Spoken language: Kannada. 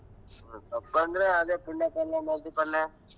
ಸೊಪ್ಪ್ ಅಂದರೆ ಅದೇ ಪುಂಡೆ ಪಲ್ಲೆ, ಮೆಂತಿ ಪಲ್ಲೆ.